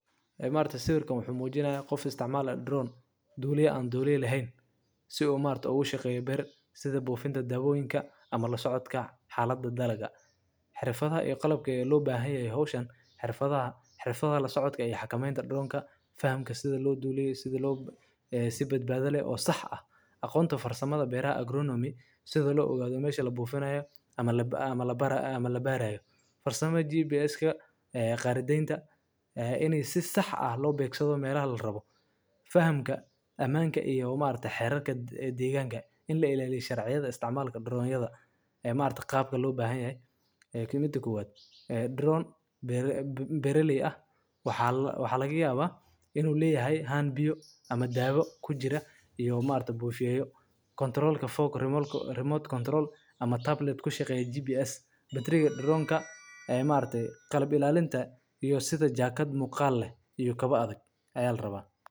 Haa, maaragte sawirkan wuxuu muujinayaa qof istcmaalaya drone. Duuliyay aan duuliyo lahayn. Si uu maarta ugu shaqeeyo ber sida buufinta daabooinka ama la socodka xaaladda dalaga. Xirfada ee qalabkay loo baahanyahay hawshan. Xirfadaha. Xirfada la socodka ayax kameynta dhroonka. Fahamka sida loo duuliyay, sida loo. Si badbaaday oo sax ah aqoonto farsamada beeraha agronomy sida loo ogaado meeshii la buufinayo ama ama la bar. Ama la baaraya farsamada. Jiibis ka eh, qaaradaynta eh, inaysid sax ah loo beegsado meera ha lababo. Fahamka ammaanka iyo maarta xerarka diigaanka. In la ilaaliyay sharciyada isticmaalaka dhroonyada. Ee maarta qaabka loo baahan yahay. Eh, kima tagaan aad. Eh, dhroon bere, bee raaley ah waxaa la. Waxaa laga yaabaa inuu leeyahay haan biyo ama daabo ku jira. Iyo maanta buufiyaayo kontorool ka fog remote control ama tablet ku shaqeeya GPS. Batriyaga dhroonka ee maarta qalab ilaalinta iyo sida jaakad muqaal leh iyo kaba adag ay alabaa.